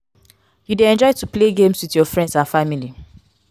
you dey enjoy to play games with your friends and family?